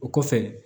O kɔfɛ